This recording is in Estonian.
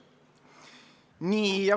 Nii.